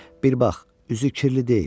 Bir bax, üzü kirli deyil.